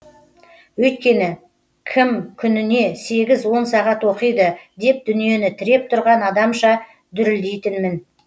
өйткені кім күніне сегіз он сағат оқиды деп дүниені тіреп тұрған адамша дүрілдейтінмін